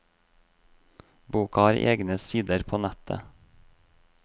Boka har egne sider på nettet.